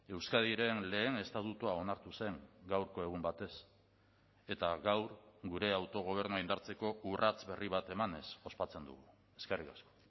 euskadiren lehen estatutua onartu zen gaurko egun batez eta gaur gure autogobernua indartzeko urrats berri bat emanez ospatzen dugu eskerrik asko